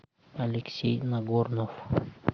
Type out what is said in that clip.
алексей нагорнов